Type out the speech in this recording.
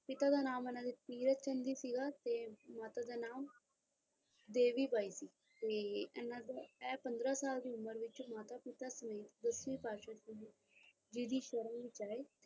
ਪਿਤਾ ਦਾ ਨਾਮ ਇਹਨਾਂ ਦਾ ਤੀਰਥ ਚੰਦ ਜੀ ਸੀਗਾ ਤੇ ਮਾਤਾ ਦਾ ਨਾਮ ਦੇਵੀ ਬਾਈ ਸੀ ਤੇ ਇਹਨਾਂ ਦੇ ਐ ਪੰਦਰਾਂ ਸਾਲ ਦੀ ਉਮਰ ਵਿੱਚ ਮਾਤਾ ਪਿਤਾ ਸਮੇਤ ਦਸਵੀਂ ਪਾਤਸ਼ਾਹੀ ਜੀ ਦੀ ਸ਼ਰਨ ਵਿੱਚ ਆਏ।